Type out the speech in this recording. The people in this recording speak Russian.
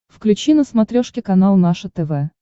включи на смотрешке канал наше тв